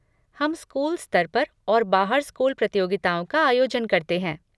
हम स्कूल स्तर पर और बाहर स्कूल प्रतियोगिताओं का आयोजन करते हैं।